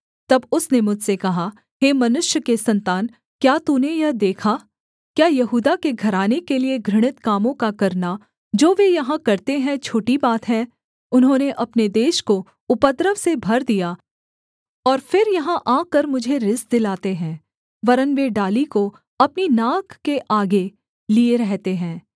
तब उसने मुझसे कहा हे मनुष्य के सन्तान क्या तूने यह देखा क्या यहूदा के घराने के लिये घृणित कामों का करना जो वे यहाँ करते हैं छोटी बात है उन्होंने अपने देश को उपद्रव से भर दिया और फिर यहाँ आकर मुझे रिस दिलाते हैं वरन् वे डाली को अपनी नाक के आगे लिए रहते हैं